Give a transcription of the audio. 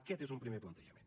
aquest és un primer plantejament